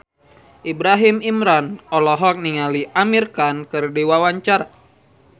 Ibrahim Imran olohok ningali Amir Khan keur diwawancara